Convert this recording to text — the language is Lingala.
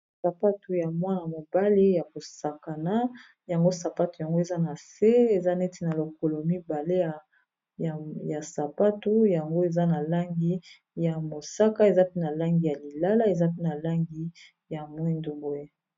Sapatu ya mwana mobali ya kosakana yango sapatu yango eza na se eza neti na lokolo mibale ya sapatu yango eza na langi ya mosaka, eza pe na langi ya lilala eza pe na langi ya mwindu boye.